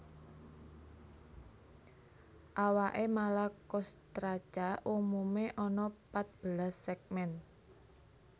Awaké Malacostraca umumé ana patbelas sègmen